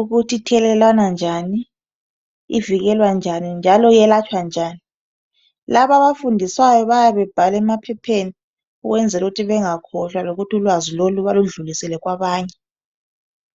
ukuthi ithelelwana njani, ivikelwa njani njalo iyelatshwa njani. Laba abafundiswayo bayabe bebhala emaphepheni ukwenzela ukuthi bengakhohlwa lokuthi ulwazi lolu baludlulisele kwabanye